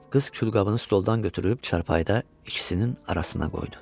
Qız külqabını stoldan götürüb çarpayıda ikisinin arasına qoydu.